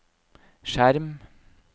skjerm